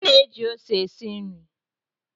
A na-eji ose esi nri.